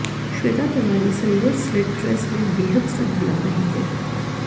Shweta Tiwari silver slit dress में बेहद stunning लग रही है